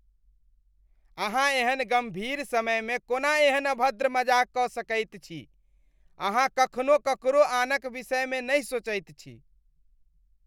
अहाँ एहन गम्भीर समयमे कोना एहन अभद्र मजाक कऽ सकैत छी ? अहाँ कखनो ककरो आनक विषयमे नहि सोचैत छी।